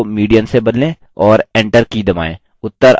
और enter की दबाएँ